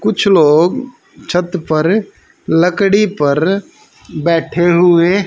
कुछ लोग छत पर लकड़ी पर बैठे हुए--